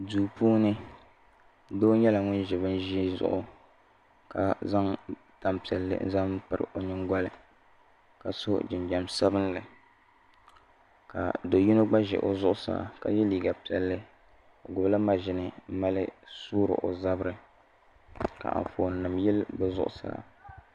Duu puuni doo nyɛla ŋun ʒi bin ʒii zuɣu ka zaŋ tanpiɛlli n zaŋ piri o nyingoli ka so jinjɛm sabinli ka do yino gba ʒɛ o zuɣusaa ka yɛ liiga piɛlli o gbubila maʒini n mali soori o zabiri ka Anfooni nim yili bi zuɣusaa